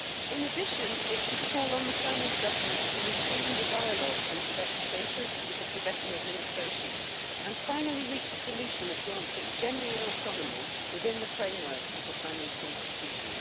In addition, it should call on the Chinese Government to resume the dialogue on Tibet's status with the Tibetan administration and finally reach a solution that grants it genuine autonomy within the framework of the Chinese Constitution.